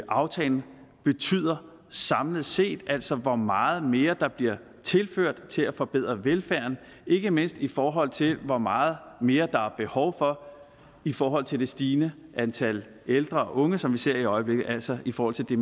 aftalen betyder samlet set altså hvor meget mere der bliver tilført til at forbedre velfærden ikke mindst i forhold til hvor meget mere der er behov for i forhold til det stigende antal ældre og unge som vi ser i øjeblikket altså i forhold til det